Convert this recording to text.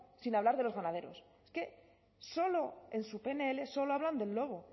sin hablar de los ganaderos es que solo en su pnl solo hablan del lobo